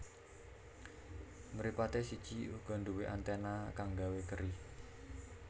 Mripaté siji uga nduwé anténa kang gawé keri